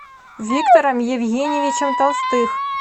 виктором евгеньевичем толстых